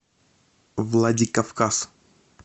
владикавказ